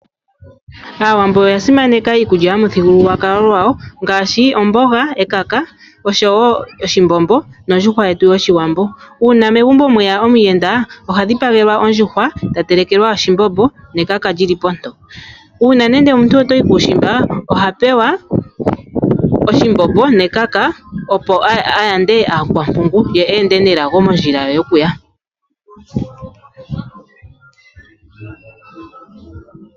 Aawambo oya simaneka iikulya yomuthingululwakalo ngwawo ngashi ,ombonga , ekaka osho wo oshimbombo mondjuhwa yetu yoshiwambo, uuna megumbo mweya omuyenda ohadhipangwlwa ondjuhwa tatelekelwa oshimbombo nekaka lili poto, una nande omuntu otayi kushimba ohapewa oshimbombo nekaka opo ayande akwapungu ye ende nelago mondjila ye yokuya.